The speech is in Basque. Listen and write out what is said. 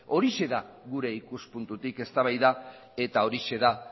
horixe da gure ikuspuntutik eztabaida eta horixe da